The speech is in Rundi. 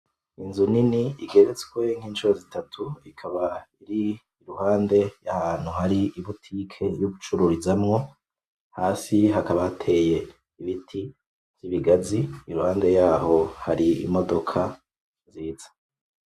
Inzu nini igeretswe nk'incuro zitatu. Ikaba iri iruhande y'ahantu hari i butike yo gucururizamwo. Hasi hakaba hateye ibiti vy'ibigazi. Iruhande yaho hari imodoka nziza.